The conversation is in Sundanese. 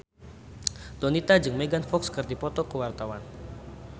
Donita jeung Megan Fox keur dipoto ku wartawan